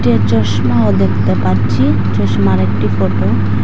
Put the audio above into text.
এ চশমাও দেখতে পাচ্ছি চশমার একটি ফটো ।